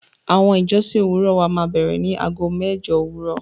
Awọn ìjọ̀ṣìn owurọ̀ wà mà n bẹ̀rẹ ni àágọ̀ mẹ́jọ̀ owurọ̀.